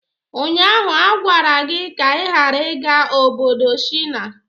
Ụnyaahụ a gwara gị ka ị ghara ịga obodo Shina!